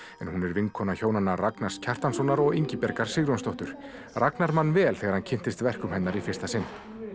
en hún er vinkona hjónanna Ragnars Kjartanssonar og Ingibjargar Sigurjónsdóttur Ragnar man vel þegar hann kynntist verkum hennar í fyrsta sinn